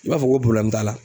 I b'a fɔ ko t'a la